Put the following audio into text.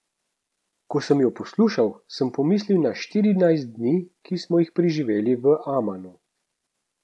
Ko sem jo poslušal, sem pomislil na štirinajst dni, ki smo jih preživeli v Amanu.